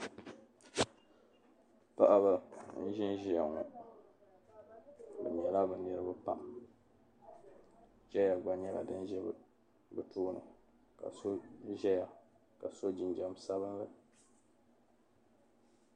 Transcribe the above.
Paɣiba n-ʒinʒia ŋɔ bɛ nyɛla bɛ niriba pam chaya gba nyɛla din za bɛ tooni ka so zaya ka so jinjam sabilinli.